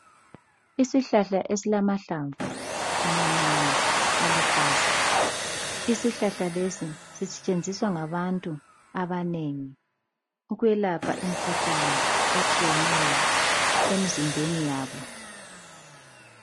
Isihlahla esilamahlamvu amancane aluhlaza isihlahla lesi sisetshenziswa ngabantu abanengi ukwelapha imkhuhlane etshiyeneyo emzimbeni yabo.